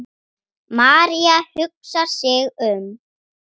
María hugsar sig um.